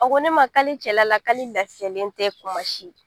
A ko ne ma k'ale cɛla la k'ale lafiyalen tɛ kuma si